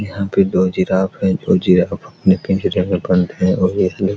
यहां पे दो जिराफ हैं दो जिराफ अपने पिंजरे में बंद हैं और एक जो --